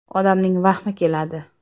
Odamning vahmi keladi.